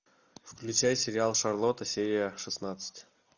включай сериал шарлотта серия шестнадцать